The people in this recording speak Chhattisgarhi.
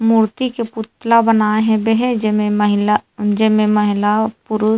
मूर्ति के पुतला बनाए हेबे हे जेमे महिला जय मे महिला पुरुष--